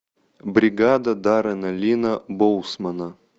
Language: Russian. бригада даррена линна боусмана